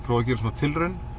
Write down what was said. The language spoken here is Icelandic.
prófa að gera smá tilraun